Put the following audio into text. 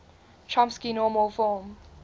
chomsky normal form